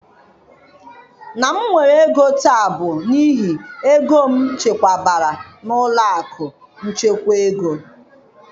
Na m nwere ego taa bụ n'ihi ego m chekwabere na ụlọ akụ nchekwa ego.